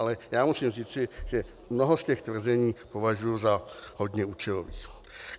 Ale já musím říci, že mnoho z těch tvrzení považuji za hodně účelových.